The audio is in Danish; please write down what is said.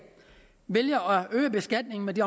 vælger at øge beskatningen af de